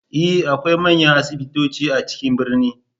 E! akwai manyan asibitoci a cikin birni.